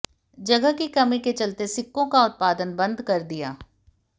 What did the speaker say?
जगह की कमी के चलते सिक्कों का उत्पादन बंद कर दिया